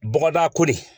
Bɔgɔda ko de